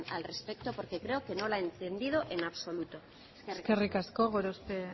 al respecto porque creo que no la ha entendido en absoluto eskerrik asko gorospe